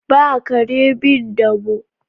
Ba kare bin damo.